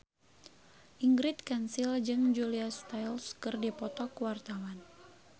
Ingrid Kansil jeung Julia Stiles keur dipoto ku wartawan